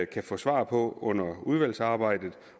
kan få svar på under udvalgsarbejdet